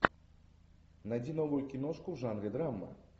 найди новую киношку в жанре драма